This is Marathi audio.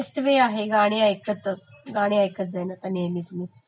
हो बेस्ट वे आहे गाणी ऐकलं तर गाणी एकतं जाणं नेहमीचं